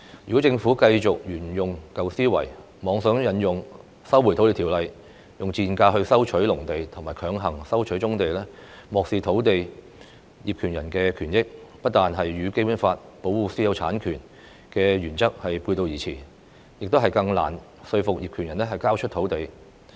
如果政府繼續沿用舊思維，妄想引用《收回土地條例》以"賤價"收回農地和強行收回棕地，漠視土地業權人的權益，這不但與《基本法》保護私有產權的原則背道而馳，亦更難以說服業權人交出土地。